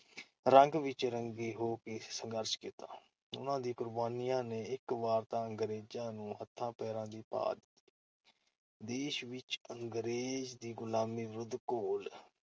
ਰੰਗ ਵਿਚ ਰੰਗ ਹੋ ਕੇ ਸੰਘਰਸ਼ ਕੀਤਾ । ਉਨ੍ਹਾਂ ਦੀਆਂ ਕੁਰਬਾਨੀਆਂ ਨੇ ਇਕ ਵਾਰ ਤਾਂ ਅੰਗਰੇਜ਼ਾਂ ਨੂੰ ਹੱਥਾਂ ਪੈਰਾ ਦੀ ਪਾ ਦਿੱਤੀ। ਦੇਸ਼ ਵਿਚ ਅੰਗਰੇਜ਼ ਦੀ ਗੁਲਾਮੀ ਵਿਰੁੱਧ ਘੋਲ-